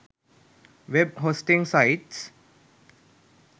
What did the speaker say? web hosting sites